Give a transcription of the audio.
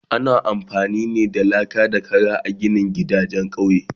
Ana amfani da laka ne da Kara a ginin gidajen kauye